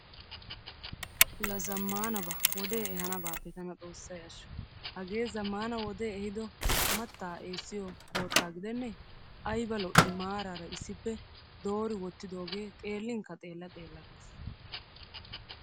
La zammaanaba wodee ehaanabaappe tana XOOSSAYI ashsho. Hagee zammaana wodee ehiido mattaa eessiyo koottaa gidennee ayba lo"ii maaraara issippe doori wottidoogee xeellinkka xeella xeella ges.